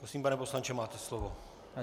Prosím, pane poslanče, máte slovo.